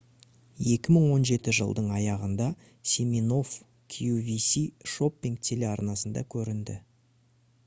2017 жылдың аяғында симинофф qvc шоппинг телеарнасында көрінді